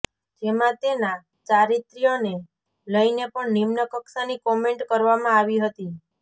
જેમાં તેના ચારિત્ર્યને લઇને પણ નિમ્ન કક્ષાની કોમેન્ટ કરવામાં આવી હતી